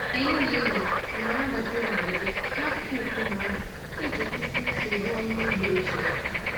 Anyị na-eli amara gbajiri agbaji n'akụkụ nkume ahụ iji kwụsị nsogbu ọrụ ugbo ochie.